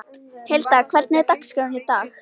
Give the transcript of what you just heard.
Hilda, hvernig er dagskráin í dag?